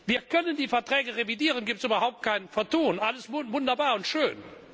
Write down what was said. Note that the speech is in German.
Wir können die Verträge revidieren, da gibt es überhaupt kein Vertun, alles wunderbar und schön.